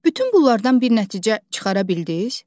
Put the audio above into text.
Bütün bunlardan bir nəticə çıxara bildiz?